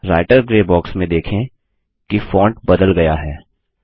writer grey box में देखें कि फोंट बदल गया है